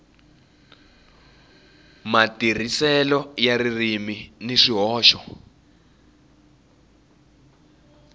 matirhiselo ya ririmi ni swihoxo